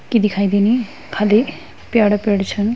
कि दिखाय देनी खदे प्याड़ा-पेड़ छन।